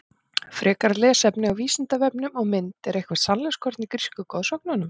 Frekara lesefni á Vísindavefnum og mynd Er eitthvert sannleikskorn í grísku goðsögunum?